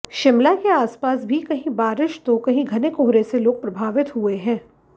शिमला के आसपास भी कहीं बारिश तो कहीं घने कोहरे से लोग प्रभावित हुए हैं